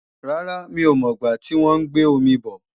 Rárá, mí ò mọ̀ gbá tí wọ́n ń gbé omi bò